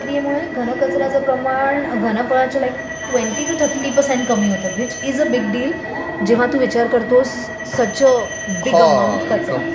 या प्रक्रियेमुळे घन कचर् याचं प्रमाण घनफळाच्या like twenty two thirty percent कमी होते which is a big deal जेव्हा टू विचार करतोस सच अ बिग अमाऊंट कचरा.